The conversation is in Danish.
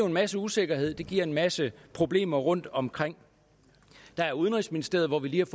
en masse usikkerhed det giver en masse problemer rundtomkring der er udenrigsministeriet hvor vi lige